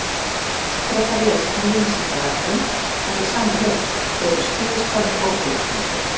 Frekara lesefni á Vísindavefnum eftir sama höfund: Eru skíðishvalir ófélagslyndir?